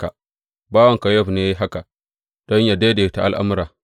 Bawanka Yowab ne ya yi haka don yă daidaita al’amura.